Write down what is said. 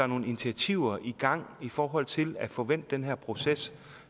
nogle initiativer i gang i forhold til at få vendt den her proces